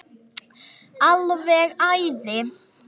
Alveg æði.